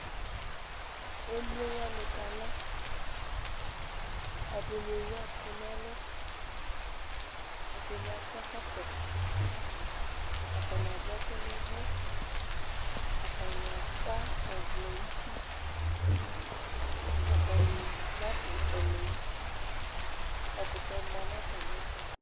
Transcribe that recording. emlo wani ka la ɛdini wue ɛku nu ɛlu ɛdini akɔ ɛkɔtɔ ata ni adu ɛku nu ʋu atania sã ɔvlɛ nu uti ata ni na du ɛlɛnuti ɛkutɛ mã na atamiɛ tu